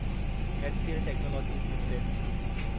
HCL technologies limited